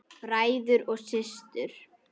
Bræður og systur!